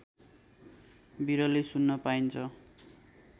बिरलै सुन्न पाइन्छ